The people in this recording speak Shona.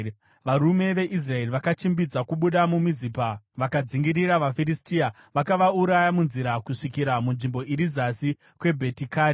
Varume veIsraeri vakachimbidza kubuda muMizipa vakadzingirira vaFiristia, vakavauraya munzira kusvikira kunzvimbo iri zasi kweBhetikari.